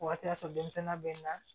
O waati y'a sɔrɔ denmisɛnninya bɛ nga